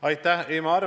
Aitäh!